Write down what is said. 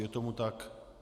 Je tomu tak.